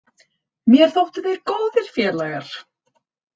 Mér þóttu þeir góðir félagar.